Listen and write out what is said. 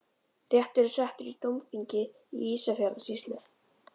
Réttur er settur í dómþingi Ísafjarðarsýslu!